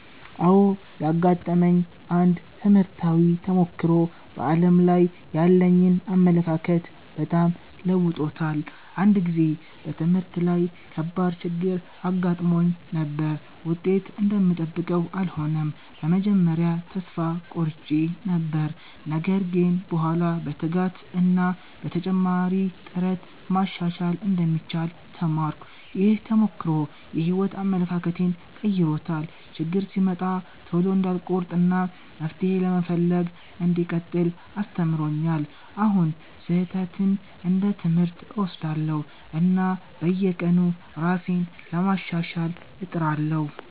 አዎ፣ ያጋጠመኝ አንድ ትምህርታዊ ተሞክሮ በዓለም ላይ ያለኝን አመለካከት በጣም ለውጦታል። አንድ ጊዜ በትምህርት ላይ ከባድ ችግር አጋጥሞኝ ነበር፤ ውጤት እንደምጠብቀው አልሆነም። በመጀመሪያ ተስፋ ቆርጬ ነበር፣ ነገር ግን በኋላ በትጋት እና በተጨማሪ ጥረት ማሻሻል እንደሚቻል ተማርኩ። ይህ ተሞክሮ የሕይወት አመለካከቴን ቀይሮታል፤ ችግር ሲመጣ ቶሎ እንዳልቆርጥ እና መፍትሄ ለመፈለግ እንዲቀጥል አስተምሮኛል። አሁን ስህተትን እንደ ትምህርት እወስዳለሁ፣ እና በየቀኑ ራሴን ለማሻሻል እጥራለሁ።